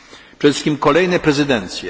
na ten sukces. Przede wszystkim kolejne